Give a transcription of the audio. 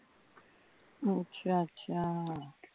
ਅੱਛਾ ਅੱਛਾ